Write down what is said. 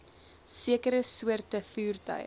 sekere soorte voertuie